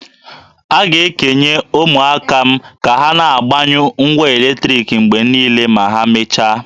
A ga-ekenye ụmụaka m ka ha na-agbanyụ ngwa eletriki mgbe niile ma ha mechaa